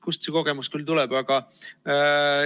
Kust see kogemus küll tuleb?